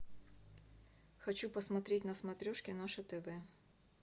хочу посмотреть на смотрешке наше тв